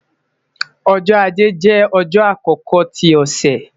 Ọjọ́-Ajé jẹ ọjọ akọkọ ti ọsẹ